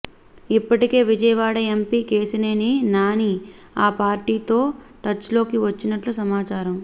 ఇప్పటికే విజయవాడ ఎంపీ కేశినేని నాని ఆ పార్టీతో టచ్లోకి వచ్చినట్లు సమాచారం